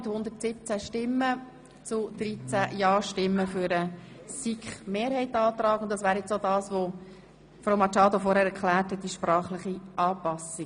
Das entspricht auch der vorhin von Frau Machado erklärten Anpassung.